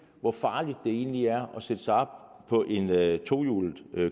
hvor farligt det egentlig er at sætte sig op på et et tohjulet